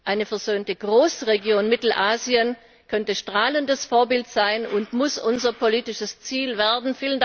Eine versöhnte Großregion Mittelasien könnte strahlendes Vorbild sein und muss unser politisches Ziel werden.